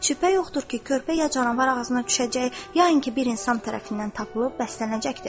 Şübhə yoxdur ki, körpə ya canavar ağzına düşəcək, ya inki bir insan tərəfindən tapılıb bəslənəcəkdir.